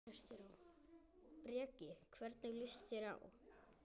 Breki: Hvernig líst þér á?